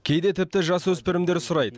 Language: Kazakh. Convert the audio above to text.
кейде тіпті жасөспірімдер сұрайды